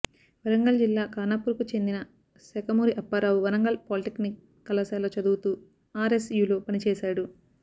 వరంగల్ జిల్లా ఖానాపూర్ కు చెందిన శాఖమూరి అప్పారావు వరంగల్ పాలిటెక్నిక్ కళాశాలలో చదువుతూ ఆర్ఎస్ యులో పనిచేశాడు